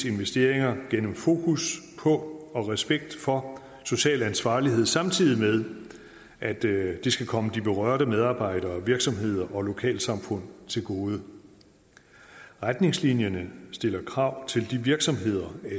investeringer gennem fokus på og respekt for social ansvarlighed samtidig med at det skal komme de berørte medarbejdere virksomheder og lokalsamfund til gode retningslinjerne stiller krav til de virksomheder